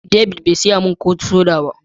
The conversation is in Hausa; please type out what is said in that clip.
David be siya min ko soda ba.